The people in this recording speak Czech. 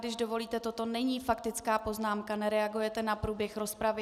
Když dovolíte, toto není faktická poznámka, nereagujete na průběh rozpravy.